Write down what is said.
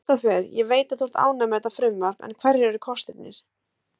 Kristófer, ég veit að þú ert ánægður með þetta frumvarp en hverjir eru kostirnir?